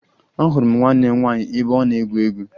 Ahụrụ m nwanne m nwaanyị ebe ọ na-egwu egwu